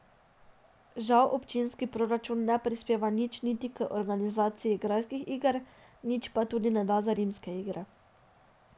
Žal občinski proračun ne prispeva nič niti k organizaciji Grajskih iger, nič pa tudi ne da za Rimske igre.